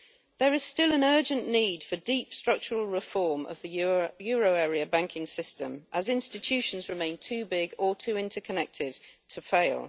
There is still an urgent need for deep structural reform of the euro area banking system, as institutions remain too big or too interconnected to fail.